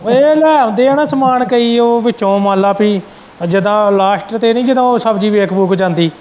ਇਹ ਲੈਅ ਆਉਂਦੇ ਨੇ ਸਾਮਾਨ ਕਈ ਏ ਵਿੱਚੋਂ ਮੰਨ ਲੈ ਪੀ ਜਿੱਦਾ ਲਾਸਟ ਤੇ ਨੀ ਜਿੱਦਾ ਸ਼ਬਜੀ ਵਿਕ ਬੁੱਕ ਜਾਂਦੀ।